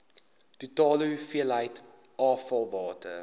totale hoeveelheid afvalwater